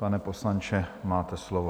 Pane poslanče, máte slovo.